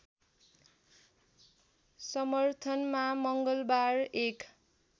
समर्थनमा मङ्गलवार एक